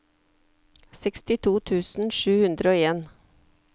sekstito tusen sju hundre og en